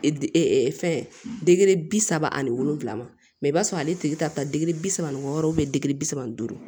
fɛn dege bi saba ani wolonwula ma mɛ i b'a sɔrɔ ale tigi ta degeli bi saba ni wɔɔrɔ degeli bi saba ni duuru